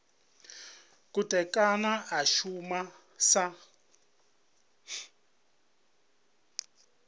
khothe kana a shuma sa